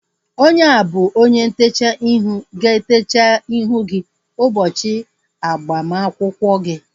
Onye a bụ onye ntechaa ihu ga-etecha ihu gị ụbọchị agbamakwụkwọ gị